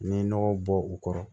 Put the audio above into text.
N'i ye nɔgɔ bɔ u kɔrɔ